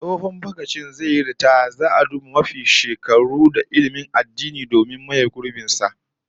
Tsohon dagacin zai yi ritaya, zaa duba mafi zuwa shekaru da ilmin zamani don maye gurbin